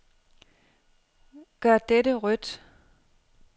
Gør dette rødt.